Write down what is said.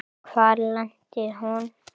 Hvar lenti hún?